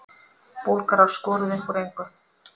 Búlgarar skoruðu upp úr engu